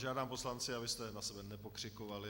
Žádám poslance, abyste na sebe nepokřikovali.